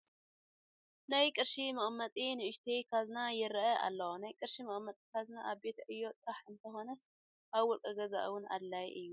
ናይ ቅርሺ መቐመጢ ንኡሽተይ ካዝና ይርአ ኣሎ፡፡ ናይ ቅርሺ መቐመጢ ካዝና ኣብ ቤት ዕዮ ጥራሕ እንተይኮነስ ኣብ ውልቀ ገዛ እውን ኣድላዪ እዩ፡፡